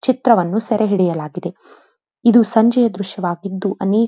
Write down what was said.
ಚಿತ್ರವನ್ನು ಸೆರೆ ಹಿಡಿಯಲಾಗಿದೆ ಇದು ಸಂಜೆಯ ದ್ರಶ್ಯವಾಗಿದ್ದ್ದುಅನೇಕ --